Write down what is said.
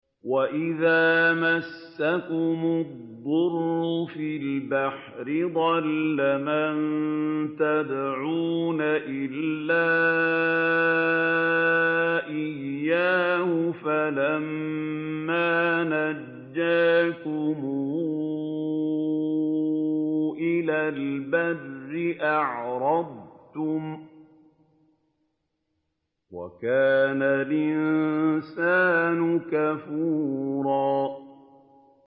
وَإِذَا مَسَّكُمُ الضُّرُّ فِي الْبَحْرِ ضَلَّ مَن تَدْعُونَ إِلَّا إِيَّاهُ ۖ فَلَمَّا نَجَّاكُمْ إِلَى الْبَرِّ أَعْرَضْتُمْ ۚ وَكَانَ الْإِنسَانُ كَفُورًا